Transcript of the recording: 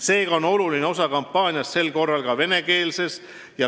Seega on sel korral oluline osa kampaaniast ka vene keeles.